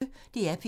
DR P1